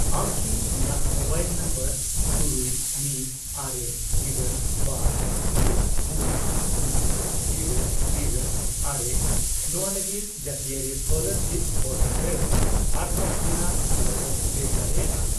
ᱟᱢ ᱠᱤ ᱤᱧᱟᱜ ᱢᱳᱵᱟᱭᱤᱞ ᱱᱟᱢᱵᱟᱨ ᱛᱩᱨᱩᱭ, ᱢᱤᱫ, ᱟᱨᱮ, ᱤᱨᱟᱹᱞ, ᱵᱟᱨ, ᱛᱩᱨᱩᱭ, ᱯᱩᱱ ,ᱥᱩᱱ, ᱤᱨᱟᱹᱞ, ᱤᱨᱟᱹᱞ, ᱟᱨᱮ ᱱᱚᱣᱟ ᱞᱟᱹᱜᱤᱫ ᱡᱟᱹᱛᱤᱭᱟᱹᱨᱤ ᱥᱠᱚᱞᱟᱨᱥᱤᱯ ᱯᱳᱨᱴᱟᱞ ᱨᱮ ᱟᱨᱫᱟᱥ ᱨᱮᱱᱟᱜ ᱦᱟᱞᱚᱛᱮᱢ ᱴᱨᱮᱠ ᱫᱟᱲᱮᱭᱟᱜᱼᱟ?